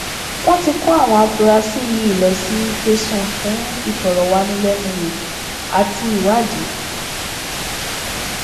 wọn ti kó àwọn afurasí yìí lọ sí tẹsán fún ìfọrọwánilẹnuwò àti ìwádìí